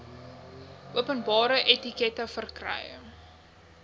openbare entiteite verkry